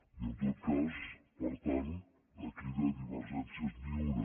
i en tot cas per tant aquí de divergències ni una